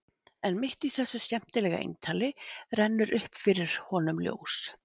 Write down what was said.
En mitt í þessu skemmtilega eintali rennur upp fyrir honum ljós.